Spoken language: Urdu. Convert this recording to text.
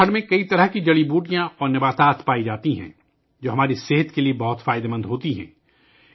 اتراکھنڈ میں کئی قسم کی جڑی بوٹیاں پائی جاتی ہیں ، جو ہماری صحت کے لئے بہت فائدہ مند ہیں